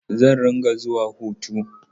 Zan rinƙa zuwa koto.